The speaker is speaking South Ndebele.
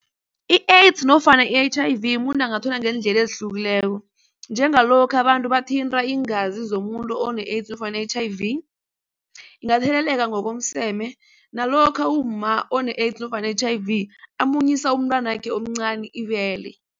I-AIDS nofana i-H_I_V muntu angathola ngeendlela ezihlukileko. Njengalokha abantu bathinteka iingazi zomuntu one-AIDS nofana H_I_V. Ingatheleleka ngokomseme nalokha umma one-AIDS nofana H_I_V amunyisa umntwanakhe omncani ibele.